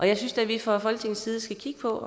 jeg synes da vi fra folketingets side skal kigge på